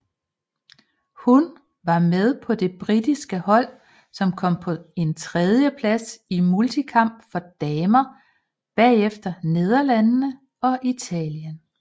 Hun var med på det britiske hold som kom på en tredjeplads i multikamp for damer bagefter Nederlandene og Italien